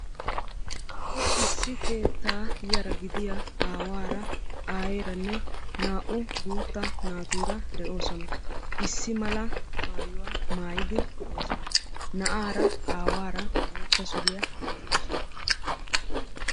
Issi keetta yara gidiya aawara, aayyeranne na'u guutta naatuura de'oosona. Issi mala maayyuwaa maayyid de'oosona. Na'aara aawara bootta suriyaa gixxidoosona.